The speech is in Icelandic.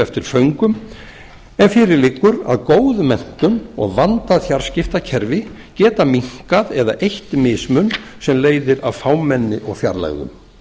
eftir föngum en fyrir liggur að góð menntun og vandað fjarskiptakerfi geta minnkað eða eytt mismun sem leiðir af fámenni og fjarlægðum